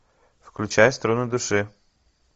включай струны души